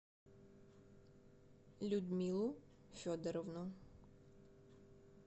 людмилу федоровну